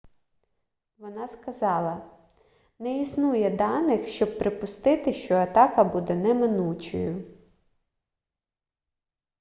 вона сказала не існує даних щоб припустити що атака буде неминучою